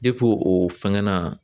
o fɛngɛ na.